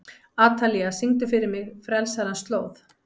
Atalía, syngdu fyrir mig „Frelsarans slóð“.